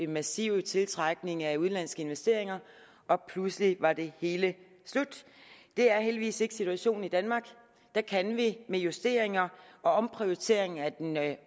massiv tiltrækning af udenlandske investeringer og pludselig var det hele slut det er heldigvis ikke situationen i danmark der kan vi med justeringer og omprioriteringer af den